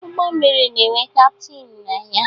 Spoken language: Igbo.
Ụgbọ mmiri na-enwe kaptịn na ya